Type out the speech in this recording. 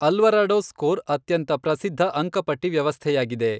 Alvarado score ಅತ್ಯಂತ ಪ್ರಸಿದ್ಧ ಅಂಕಪಟ್ಟಿ ವ್ಯವಸ್ಥೆಯಾಗಿದೆ.